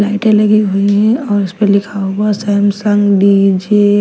लाइटें लगी हुई हैं और उसपे लिखा हुआ सैमसंग डी_जे ।